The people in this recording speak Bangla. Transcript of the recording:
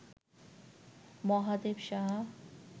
মহাদেব সাহা